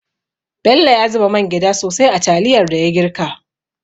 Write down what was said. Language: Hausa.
Bello ya zuba mangyda sosai a taliyar da ya girka.